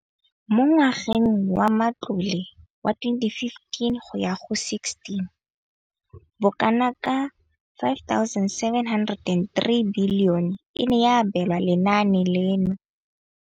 Mo ngwageng wa matlole wa 2015,16, bokanaka R5 703 bilione e ne ya abelwa lenaane leno.